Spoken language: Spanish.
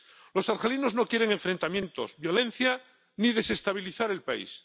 Los argelinos no quieren enfrentamientos ni violencia, ni desestabilizar el país.